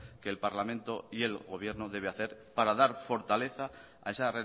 que el parlamento y el gobierno debe hacer para dar fortaleza a esa